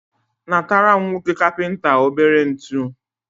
natara m nwoke kapịnta obere ntu.